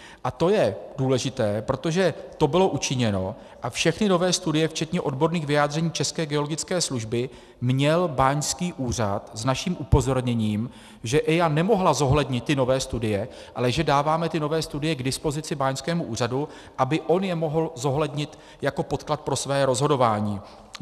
A to je důležité, protože to bylo učiněno a všechny nové studie včetně odborných vyjádření České geologické služby měl báňský úřad s naším upozorněním, že EIA nemohla zohlednit ty nové studie, ale že dáváme ty nové studie k dispozici báňskému úřadu, aby on je mohl zohlednit jako podklad pro své rozhodování.